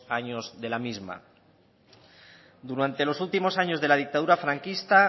años de la misma durante los últimos años de la dictadura franquista